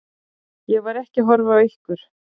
Ég var ekki að horfa á ykkur.